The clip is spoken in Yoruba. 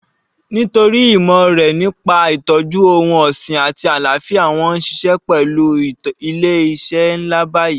Nítorí ìmọ̀ rẹ̀ nípa ìtọ́jú ohun ọ̀sìn àti àlàáfíà wọn ó ń ṣiṣẹ́ pẹlu ilé iṣẹ́ ńlá báyìí